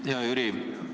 Hea Jüri!